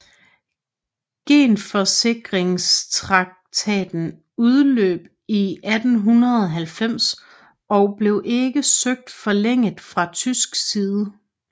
Genforsikringstraktaten udløb i 1890 og blev ikke søgt forlænget fra tysk side